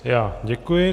Já děkuji.